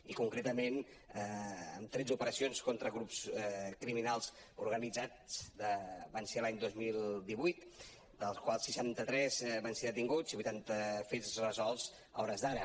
i concretament tretze operacions contra grups criminals organitzats van ser l’any dos mil divuit de les quals seixanta tres van ser detinguts i vuitanta fets resolts a hores d’ara